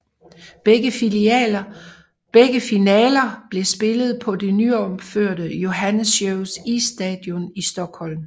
Begge finaler blev spillet på det nyopførte Johanneshovs isstadion i Stockholm